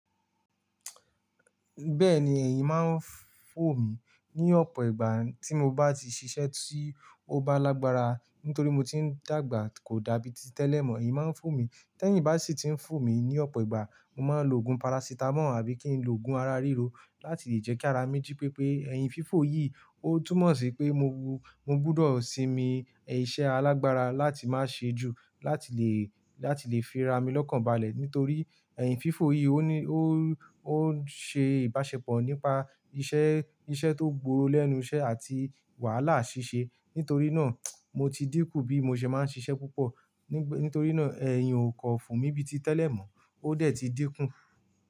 Bẹ́ẹ̀ni, ẹ̀min máa ń fò mí ní ọ̀pọ̀ ìgbà tí mo bá ti ṣiṣẹ́ tí ó bá lágbára. Nítorí mo ti ń dàgbà kò dàbí ti tẹ́lẹ̀ mọ́, ẹ̀yin máa ń fò mí. Tẹ́yìn bá sì ti ń fò mí ní ọ̀pọ̀ ìgbà, mo máa lo òògùn parasitamọ́ọ̀ àbí kí n lo òògùn ara ríro láti lè jẹ́ kí ara mi jí pépé. Ẹ̀yin fífò yìí ó túmọ̀ sí pé mo bú, mo gbọdọ̀ sinmi iṣẹ́ alágbára láti má ṣe ju láti lè, láti lè fira mi lọ́kàn balẹ̀. Nítorí ẹ̀yin fífò yìí ó ní, ó, ó ń ṣe ìbáṣepọ̀ nípa iṣẹ́, iṣẹ́ tó gbòòrò lẹ́nu iṣẹ́ àti wàhálà ṣíṣe. Nítorí náà, mo ti dínkù bí mo ṣe máa ń ṣiṣẹ́ púpọ̀. Nítorí náà ẹ̀yin ò kọ fò mí bíi ti tẹ́lẹ̀ mọ́, ó dẹ̀ ti dínkù.